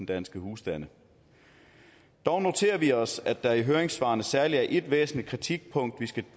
danske husstande dog noterer vi os at der i høringssvarene er særlig et væsentligt kritikpunkt